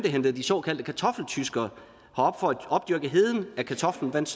hentede de såkaldte kartoffeltyskere herop for at opdyrke heden at kartoflen vandt